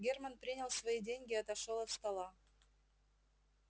германн принял свои деньги и отошёл от стола